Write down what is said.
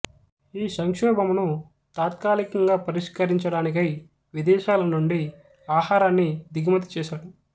ఈ సంక్షోభమును తాత్కాలికంగా పరిష్కరించడానికై విదేశాల నుండి ఆహారాన్ని దిగుమతి చేసాడు